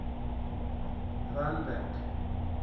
randburg